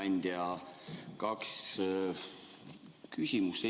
Hea ettekandja!